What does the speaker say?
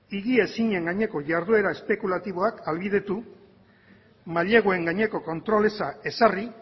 higiezinen gaineko jarduera espekulatiboak ahalbidetu maileguen gaineko kontrol eza ezarri